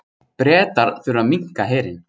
Bretar þurfa að minnka herinn